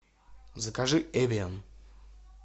закажи эвиан